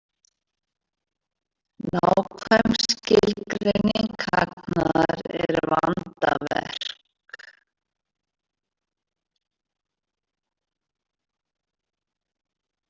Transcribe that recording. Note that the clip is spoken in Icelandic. Nákvæm skilgreining hagnaðar er vandaverk.